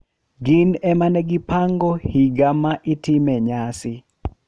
Gin ema negipango higa ma itime nyasi.